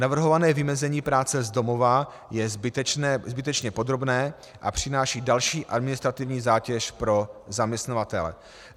Navrhované vymezení práce z domova je zbytečně podrobné a přináší další administrativní zátěž pro zaměstnavatele.